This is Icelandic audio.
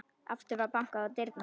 Aftur var bankað á dyrnar.